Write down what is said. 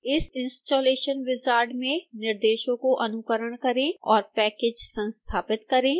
इस installation wizard में निर्देशों को अनुकरण करें और package संस्थापित करें